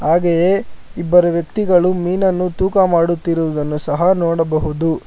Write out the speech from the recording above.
ಇಬ್ಬರು ವ್ಯಕ್ತಿಗಳು ಮೀನನ್ನ ತೂಕ ಮಾಡುತ್ತಿರುವುದನ್ನು ಸಹ ನೋಡಬಹುದು.